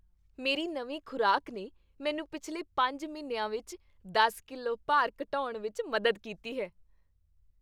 ਮੇਰੀ ਨਵੀਂ ਖ਼ੁਰਾਕ ਨੇ ਮੈਨੂੰ ਪਿਛਲੇ ਪੰਜ ਮਹੀਨਿਆਂ ਵਿੱਚ ਦਸ ਕਿਲੋ ਭਾਰ ਘਟਾਉਣ ਵਿੱਚ ਮਦਦ ਕੀਤੀ ਹੈ